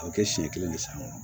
A bɛ kɛ siɲɛ kelen de san